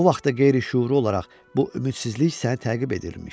O vaxt da qeyri-şüuri olaraq bu ümidsizlik səni təqib edirmiş.